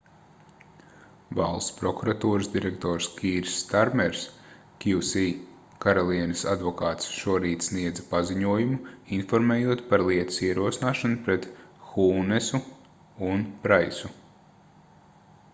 valsts prokuratūras direktors kīrs starmers qc - karalienes advokāts šorīt sniedza paziņojumu informējot par lietas ierosināšanu pret hūnesu un praisu